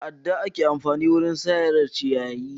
Da adda ake amfani wajen sare ciyayi.